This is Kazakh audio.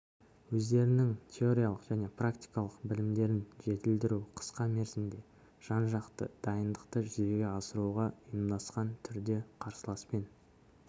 өздерінің теориялық және практикалық білімдерін жетілдіру қысқа мерзімде жан-жақты дайындықты жүзеге асыруға ұйымдасқан түрде қарсыласпен